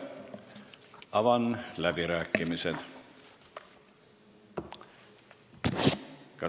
Avan läbirääkimised.